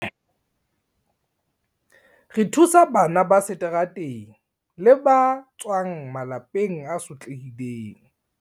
"Re thusa bana ba seterateng le ba tswang malapeng a sotlehileng."